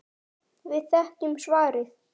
Við þekkjum svarið.